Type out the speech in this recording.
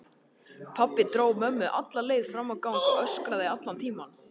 Pabbi dró mömmu alla leið fram á gang og öskraði allan tímann.